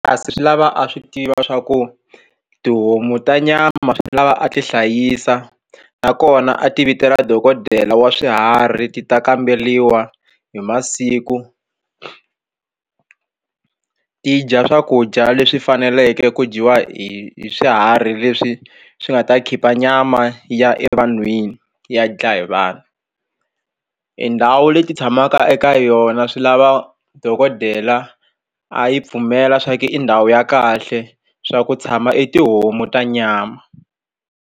Kasi swi lava a swi tiva swa ku tihomu ta nyama swi lava a ti hlayisa nakona a ti vitela dokodela wa swiharhi ti ta kamberiwa hi masiku ti dya swakudya leswi faneleke ku dyiwa hi swiharhi leswi swi nga ta khipha nyama ya evanhwini ya dlaya hi vanhu i ndhawu leti tshamaka eka yona swi lava dokodela a yi pfumela swa ku i ndhawu ya kahle swa ku tshama i tihomu ta nyama.